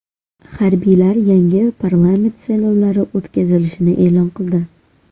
Harbiylar yangi parlament saylovlari o‘tkazilishini e’lon qildi .